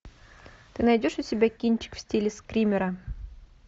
ты найдешь у себя кинчик в стиле скримера